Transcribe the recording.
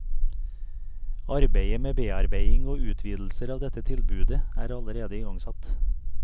Arbeidet med bearbeiding og utvidelser av dette tilbudet er allerede igangsatt.